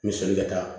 N bɛ soli ka taa